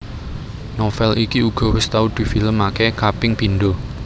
Novel iki uga wis tau di film aké kaping pindho